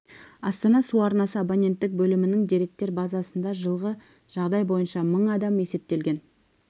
астана су арнасы абоненттік бөлімінің деректер базасында жылғы жағдай бойынша мың адам есептелген